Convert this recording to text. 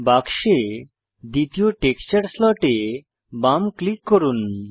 বাক্সে দ্বিতীয় texture slot এ বাম ক্লিক করুন